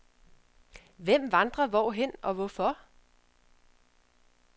Hvem vandrer hvorhen og hvorfor?